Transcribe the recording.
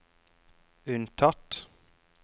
unntatt